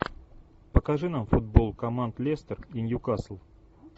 покажи нам футбол команд лестер и нью касл